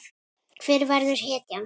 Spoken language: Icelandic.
Hver verður hetjan?